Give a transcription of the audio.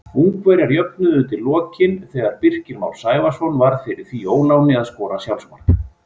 Ungverjar jöfnuðu undir lokin þegar Birkir Már Sævarsson varð fyrir því óláni að skora sjálfsmark.